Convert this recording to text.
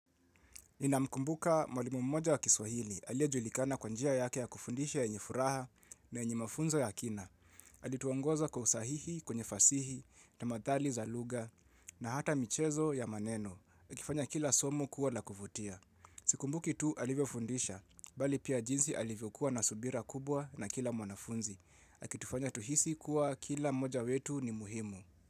Nina mkumbuka mwalimu mmoja wa kiswahili alie julikana kwanjia yake ya kufundisha na yenye furaha na yenye mafunzo ya kina. Alituongoza kwa usahihi, kwenye fasihi na madhali za lugha na hata michezo ya maneno. Akifanya kila somu kuwa la kuvutia.mhh Sikumbuki tu alivyo fundisha, bali pia jinsi alivyo kuwa na subira kubwa na kila mwanafunzi. Hhh ah Akitufanya tuhisi kuwa kila mmoja wetu ni muhimu.